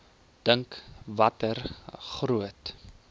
dink watter groot